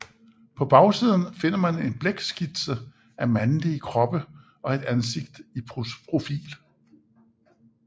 På bagsiden finder man en blækskitse af mandlige kroppe og et ansigt i profil